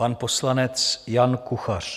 Pan poslanec Jan Kuchař.